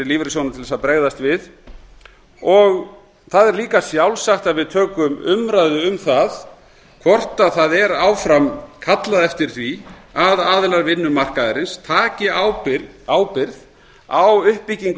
til að bregðast við það er líka sjálfsagt að við tökum umræðu um það hvort það er áfram kallað eftir því að aðilar vinnumarkaðarins taki ábyrgð á uppbyggingu